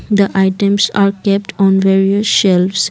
the items are kept on various shelves